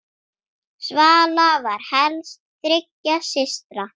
Svala var elst þriggja systra.